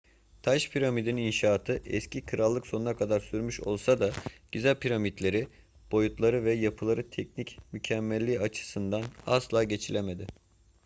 taş piramidin inşaatı eski krallık'ın sonuna kadar sürmüş olsa da giza piramitleri boyutları ve yapılarının teknik mükemmelliği açısından asla geçilemedi